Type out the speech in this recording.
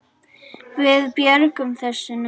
Við björgum þessu nú.